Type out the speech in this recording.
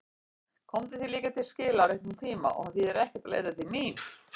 Komdu því líka til skila á réttum tíma að það þýði ekkert að leita mín.